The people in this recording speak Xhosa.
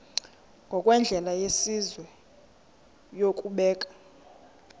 ngokwendlela yesizwe yokubeka